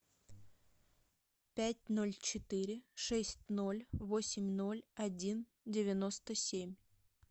пять ноль четыре шесть ноль восемь ноль один девяносто семь